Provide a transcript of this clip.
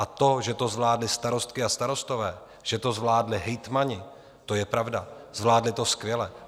A to, že to zvládly starostky a starostové, že to zvládli hejtmani, to je pravda, zvládli to skvěle.